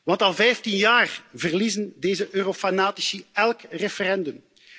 Want al 15 jaar verliezen deze eurofanatici elk referendum.